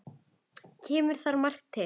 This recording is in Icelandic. Kemur þar margt til.